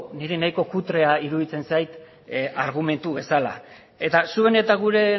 niri nahiko kutrea iruditzen zait argumentu bezala eta zuen eta gure